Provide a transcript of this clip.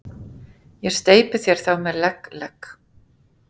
Ég steypi þér þá með legg, legg